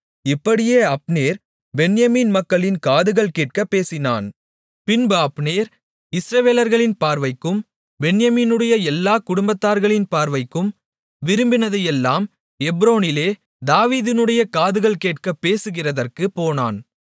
இப்படியே அப்னேர் பென்யமீன் மக்களின் காதுகள் கேட்கப் பேசினான் பின்பு அப்னேர் இஸ்ரவேலர்களின் பார்வைக்கும் பென்யமீனுடைய எல்லாக் குடும்பத்தார்களின் பார்வைக்கும் விரும்பினதையெல்லாம் எப்ரோனிலே தாவீதினுடைய காதுகள் கேட்கப் பேசுகிறதற்குப் போனான்